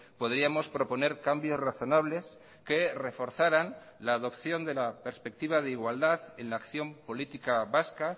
podríamos proponer cambios razonables que reforzaran la adopción de la perspectiva de igualdad en la acción política vasca